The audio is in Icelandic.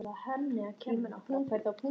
Ég er bara svona glaður að hafa eignast vin.